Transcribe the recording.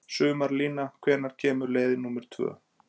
Sumarlína, hvenær kemur leið númer tvö?